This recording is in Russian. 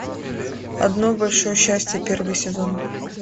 одно большое счастье первый сезон